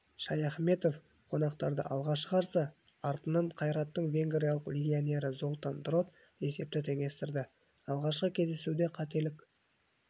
шаяхметов қонақтарды алға шығарса артынан қайраттың венгриялық легионері золтан дрот есепті теңестірді алғашқы кездесуде қателік